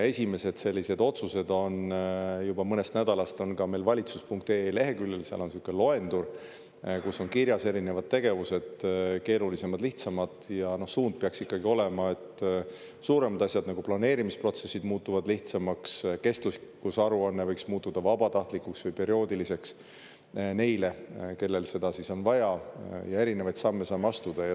Esimesed sellised otsused juba mõnest nädalast on ka meil valitsus.ee leheküljel, seal on sihuke loendur, kus on kirjas erinevad tegevused, keerulisemad, lihtsamad, ja suund peaks ikkagi olema, et suuremad asjad, nagu planeerimisprotsessid, muutuvad lihtsamaks, kestlikkusaruanne võiks muutuda vabatahtlikuks või perioodiliseks neile, kellel seda on vaja, ja erinevaid samme saame astuda.